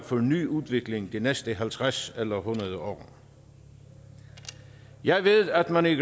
for ny udvikling de næste halvtreds eller hundrede år jeg ved at man i